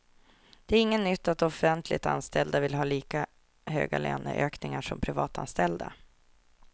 Det är inget nytt att offentligt anställda vill ha lika höga löneökningar som privatanställda.